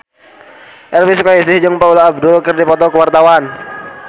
Elvy Sukaesih jeung Paula Abdul keur dipoto ku wartawan